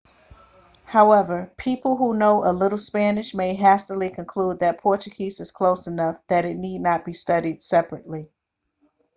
however people who know a little spanish may hastily conclude that portuguese is close enough that it need not be studied separately